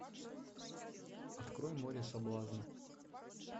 открой море соблазна